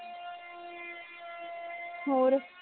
ਹੋਰ